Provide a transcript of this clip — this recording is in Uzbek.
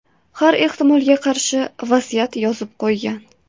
Har ehtimolga qarshi vasiyat yozib qo‘ygan.